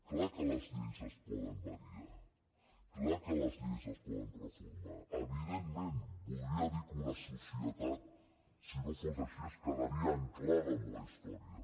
clar que les lleis es poden variar clar que les lleis es poden reformar evidentment voldria dir que una societat si no fos així es quedaria ancorada en la història